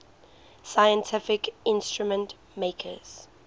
scientific instrument makers